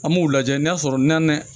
An b'u lajɛ n'a sɔrɔ nan dɛ